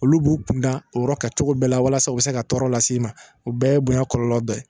Olu b'u kun da o yɔrɔ kan cogo bɛɛ la walasa u bɛ se ka tɔɔrɔ lase i ma o bɛɛ ye bonya kɔlɔlɔ dɔ ye